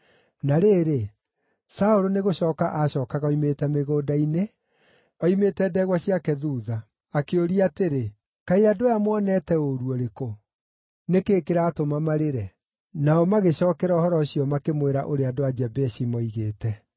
Na rĩrĩ, Saũlũ nĩgũcooka aacookaga oimĩte mĩgũnda-inĩ, oimĩte ndegwa ciake thuutha, akĩũria atĩrĩ, “Kaĩ andũ aya moonete ũũru ũrĩkũ? Nĩ kĩĩ kĩratũma marĩre?” Nao magĩcookera ũhoro ũcio makĩmwĩra ũrĩa andũ a Jabeshi moigĩte.